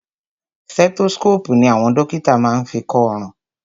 Stethoscopu ní àwọn dókítà má ń fí kọ ọrùn.